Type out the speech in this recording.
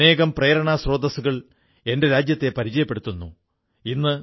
അമേരിക്കയിൽ ഇന്ന് പല സ്ഥലങ്ങളിലും ഞാണിൻമേൽകളി പരിശീലന കേന്ദ്രങ്ങൾ നടക്കുന്നു